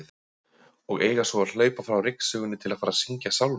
Og eiga svo að hlaupa frá ryksugunni til að fara að syngja sálma!